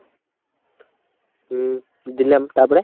হম দিলাম, তারপরে,